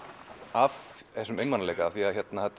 af einmanaleika því